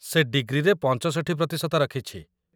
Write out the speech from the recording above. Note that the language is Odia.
ସେ ଡିଗ୍ରୀରେ ୬୫ ପ୍ରତିଶତ ରଖିଛି |